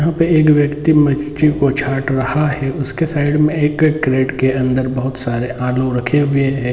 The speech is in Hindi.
यहाँ पे एक व्यक्ति मच्छी को छाट रहा है उसके साइड में एक क क्रेट के अंदर बहोत सारे आलू रखे हुए हैं।